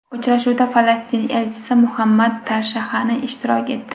Uchrashuvda Falastin elchisi Muhammad Tarshahani ishtirok etdi.